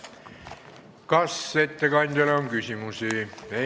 Kas ettekandjale on küsimusi?